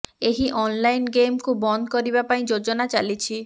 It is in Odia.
ଏହି ଅନ୍ଲାଇନ୍ ଗେମ୍କୁ ବନ୍ଦ କରିବା ପାଇଁ ଯୋଜନା ଚାଲିଛି